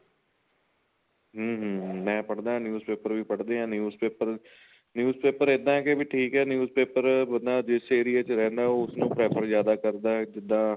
ਹਮ ਹਮ ਮੈਂ ਪੜ੍ਹਦਾ news paper ਵੀ ਪੜ੍ਹਦੇ ਆ news paper news paper ਇੱਦਾਂ ਏ ਕੀ ਠੀਕ ਏ news paper ਬੰਦਾ ਜਿਸ ਏਰੀਏ ਚ ਰਹਿੰਦਾ ਉਸ ਨੂੰ prefer ਜਿਆਦਾ ਕਰਦਾ ਜਿੱਦਾਂ